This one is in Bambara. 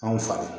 Anw fa